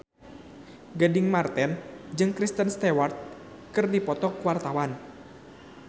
Gading Marten jeung Kristen Stewart keur dipoto ku wartawan